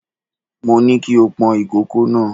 Mo ní kí o pọn ìkòkò náà.